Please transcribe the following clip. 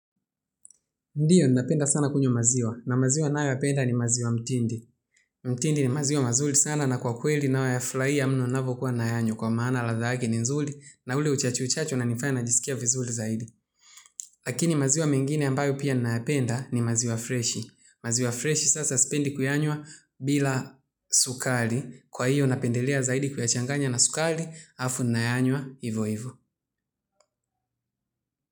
Ndiyo, ninapenda sana kunywa maziwa. Na maziwa ninayoyapenda ni maziwa mtindi. Mtindi ni maziwa mazuri sana na kwa kweli nayoyafurahia mno napokuwa nayanywa kwa maana ladha yake ni nzuri na ule uchachu uchachu unanifanya najisikia vizuri zaidi. Lakini maziwa mengine ambayo pia nayapenda ni maziwa freshi. Maziwa freshi sasa sipendi kuyanywa bila sukari. Kwa hiyo, napendelea zaidi kuyachanganya na sukari halafu nayanywa hivo hivo.